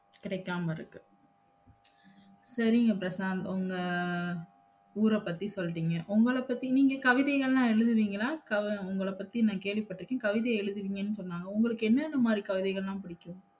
கிடைக்காம இருக்கு சரிங்க பிரசாந்த் உங்க ஊர பத்தி சொல்டீங்க உங்கள பத்தி நீங்க கவிதைகலாம் எழுதுவீங்களா? உங்கள பத்தி நா கேள்விப்பட்டிருக்கிறேன் கவிதை எழுதுவீங்கன்னு சொன்னாங்க உங்களுக்கு என்னென்னமாரி கவிதைகலாம் பிடிக்கும்